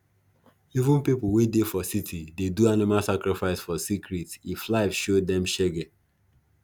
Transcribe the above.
even people wey dey for city dey do animal sacrifice for secret if life show them shege